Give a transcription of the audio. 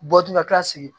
Bɔ tu ka tila segin